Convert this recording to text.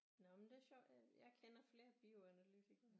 Nå men det er sjovt jeg kender flere bioanalytikere